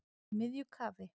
Í miðju kafi